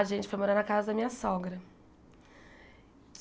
A gente foi morar na casa da minha sogra.